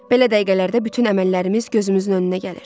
Belə dəqiqələrdə bütün əməllərimiz gözümüzün önünə gəlir.